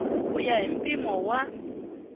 ku ya hi mpimo wa